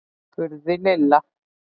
spurði Lilla.